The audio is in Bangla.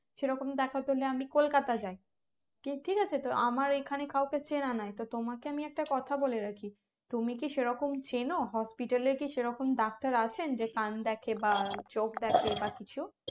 সেরকম দেখতে হলে আমি কলকাতা যাই ঠিক আছে তো আমার এখানে কাউকে চেনা নাই তো তোমাকে আমি একটা কথা বলে রাখি তুমি কি সেরকম চেনো hospital এ কি সেরকম ডাক্তার আছেন যে কান দেখে বা চোখ দেখে বা কিছু